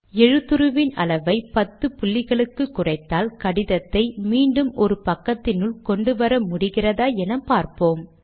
எழுத்துருவின் அளவை பத்து புள்ளிகளுக்கு குறைத்தால் கடிதத்தை மீண்டும் ஒரு பக்கத்தினுள் கொண்டு வர முடிகிறதா என பார்ப்போம்